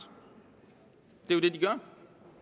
det er jo det de gør